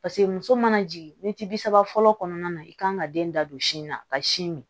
Paseke muso mana jigin mɛti bi saba fɔlɔ kɔnɔna na i kan ka den da don sin na ka sin min